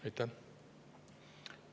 Aitäh!